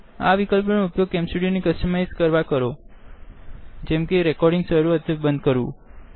આ વિકલ્પો નો ઉપયોગ કેમ સ્ટુડીઓને ક્સટમાઈઝ કરવા કરોજેમકે રેકોડીંગ શરુ અથવા બંદ કરવું